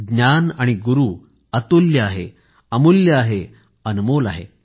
ज्ञान आणि गुरू अतुल्य आहे अमूल्य आहे अनमोल आहे